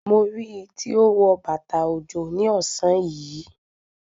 Mo rí i tí ó wọ bàtà òjò ní ọ̀sán yìí.